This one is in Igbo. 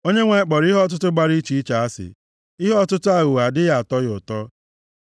Onyenwe anyị kpọrọ ihe ọtụtụ gbara iche iche asị, ihe ọtụtụ aghụghọ adịghị atọ ya ụtọ.